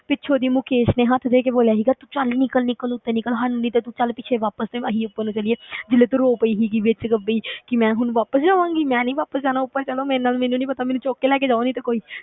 ਪਿੱਛੋਂ ਦੀ ਮੁਕੇਸ਼ ਨੇ ਹੱਥ ਦੇ ਕੇ ਬੋਲਿਆ ਸੀਗਾ ਤੂੰ ਚੱਲ ਨਿੱਕਲ ਨਿੱਕਲ ਉੱਤੇ ਨਿੱਕਲ, ਹਟ ਨਹੀਂ ਤੇ ਤੂੰ ਚੱਲ ਪਿੱਛੇ ਵਾਪਸ ਤੇ ਅਸੀਂ ਉੱਪਰ ਨੂੰ ਚੱਲੀਏ ਜਦੋਂ ਤੂੰ ਰੋ ਪਈ ਸੀਗੀ ਵਿੱਚ ਕਿ ਵੀ ਕਿ ਮੈਂ ਹੁਣ ਵਾਪਸ ਜਾਵਾਂਗੀ, ਮੈਂ ਨੀ ਵਾਪਸ ਜਾਣਾ ਉੱਪਰ ਚਲੋ ਮੇਰੇ ਨਾਲ ਮੈਨੂੰ ਨੀ ਪਤਾ ਮੈਨੂੰ ਚੁੱਕ ਕੇ ਲੈ ਕੇ ਜਾਓ ਨਹੀਂ ਤੇ ਕੋਈ।